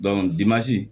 dimansi